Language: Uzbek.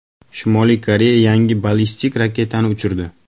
Shimoliy Koreya yangi ballistik raketani uchirdi.